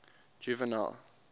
juvenal